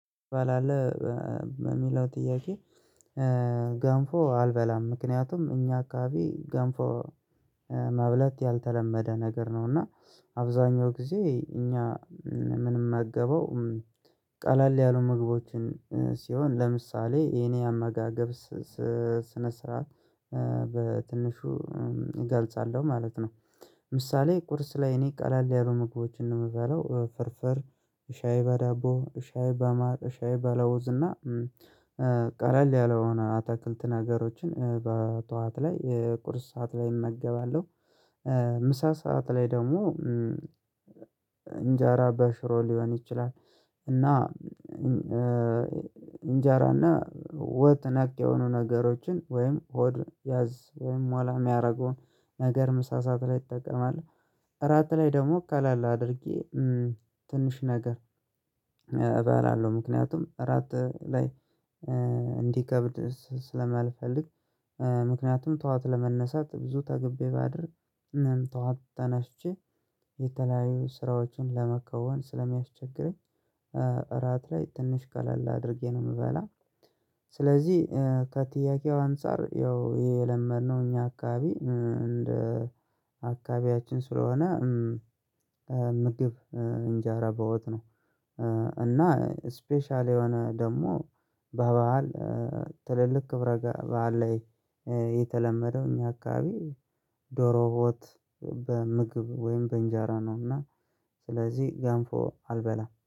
ትበላለህ የሚለው ጥያቄ? ገንፎ አልበላም ምክንያቱም እኛ አካባቢ ገንፎ መብላት ያልተለመደ ነገር ነው። እና አብዛኛው ጊዜ እኛ ምንመገበው ቀለል ያሉ ምግቦችን ሲሆን ለምሳሌ የኔ አመጋገብ ስነ ስርዓት በትንሹ እገልጻለሁ ማለት ነው። ምሳሌ ቁርስ ላይ እኔ ቀለል ያሉ ምግቦችን ነው የምበላው ፍርፍር ሻይ በዳቦ ሻይ በማር ሻይ በለውዝ እና ቀለል ያለውን አታክልት ነገሮችን በጠዋት ላይ ቁርስ ሰዓት ላይ እመገባለሁ። ምሳ ሰዓት ላይ ደግሞ እንጀራ በሽሮ ሊሆን ይችላል። እና እንጀራና ወጥ ነክ የሆኑ ነገሮችን ወይም ሆድ ያዝ ወይም ሞላ የሚያረገውን ነገር ምሳ ሰዓት ላይ እጠቀማለው። እራት ላይ ደግሞ ቀለል አድርጌ ትንሽ ነገር እበላለሁ። ምክንያቱም እራት ላይ እንዲከብድ ስለማልፈልግ። ምክንያቱም ጠዋት ለመነሳት ብዙ ጠግቤ ባድር። ጠዋት ተነሽቼ የተለያዩ ስራዎችን ለመከወን ስለሚያስቸግረኝ። እራት ላይ ትንሽ ቀለል አድርጌ ነው የምበላው። ስለዚህ ከጥያቄው አንፃር ያው የለመድነው እኛ አካባቢ እንደ አካባቢያችን ስለሆነ ምግብ እንጀራ በወጥ ነው። እና ስፔሻል የሆነ ደግሞ በበዓል ትልልቅ ክብረ በዓል ላይ የተለመደው እኛ አካባቢ ዶሮ ወት በምግብ ወይም በእንጀራ ነው። እና ስለዚህ ገንፎ አልበላም